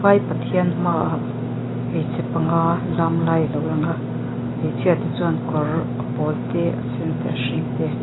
vai pathian hmaah hmeichhe panga lam lai lo lang a hmeichhia te chuan kawr a pawl te a sen te hring te--